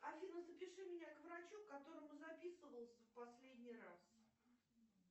афина запиши меня к врачу к которому записывался в последний раз